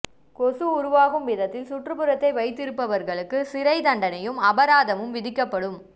கொசு உருவாகும் விதத்தில் சுற்றுப்புறத்தை வைத்திருப்பவர்களுக்கு சிறைத் தண்டனையும் அபராதமும் விதிக்கப்படும்